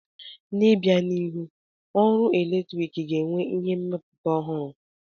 N'obianihu, ọrụ eletrik ga-enwe ihe mmepụta ọhụrụ.